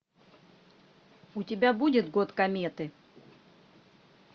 у тебя будет год кометы